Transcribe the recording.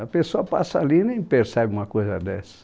A pessoa passa ali e nem percebe uma coisa dessa.